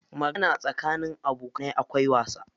Magana tsakanin abokanai akwai wasa.